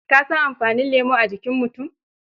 Ka san amfani lemo a jikin mutu